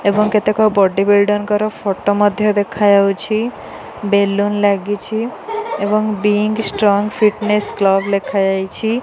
ଏବଂ କେତେକ body builder ଙ୍କର ଫଟୋ ମଧ୍ୟ ଦେଖାଯାଉଛି। ବେଲୁନ ଲାଗିଛି ଏବଂ ବିଙ୍ଗ ଷ୍ଟ୍ରଙ୍ଗ ଫିଟନେସ କ୍ଳବ ଲେଖାଯାଇଛି।